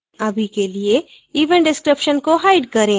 अभी के लिए event description को hide करें